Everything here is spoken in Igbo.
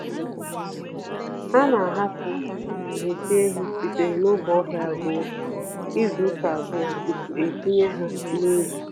Ana ahapụ nsị ehi sitere n'ọgbọ ahịa ruo izuka abụọ tupu etinyewe ha n'ubi